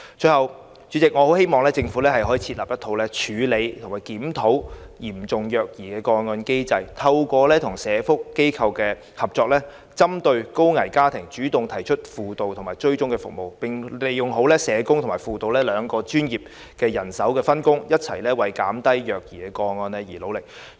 最後，代理主席，我很希望政府設立處理及檢討嚴重虐兒個案的機制，透過與社福機構合作，針對高危家庭主動提供輔導及追蹤服務，並利用好社工與輔導兩種專業人手的分工，一起為減低虐兒個案而努力。